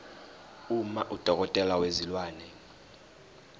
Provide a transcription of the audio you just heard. uma udokotela wezilwane